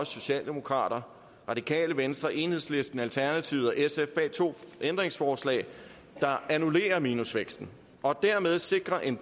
socialdemokrater radikale venstre enhedslisten alternativet og sf bag to ændringsforslag der annullerer minusvæksten og dermed sikrer en